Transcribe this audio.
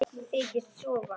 Þykist sofa.